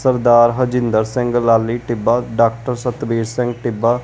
Sardar Harjinder Singh Lali Tibba doctor Satbir Singh Tibba.